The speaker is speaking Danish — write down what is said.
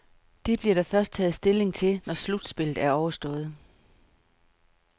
Det bliver der først taget stilling til, når slutspillet er overstået.